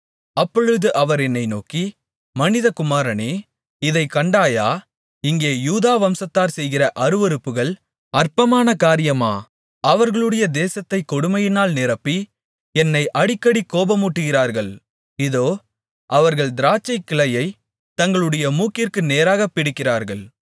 அப்பொழுது அவர் என்னை நோக்கி மனிதகுமாரனே இதைக் கண்டாயா இங்கே யூதா வம்சத்தார் செய்கிற அருவருப்புகள் அற்பமான காரியமா அவர்களுடைய தேசத்தைக் கொடுமையினால் நிரப்பி என்னை அடிக்கடி கோபமூட்டுகிறார்கள் இதோ அவர்கள் திராட்சைக்கிளையைத் தங்களுடைய மூக்கிற்கு நேராகப் பிடிக்கிறார்கள்